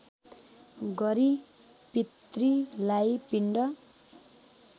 गरी पितृलाई पिण्ड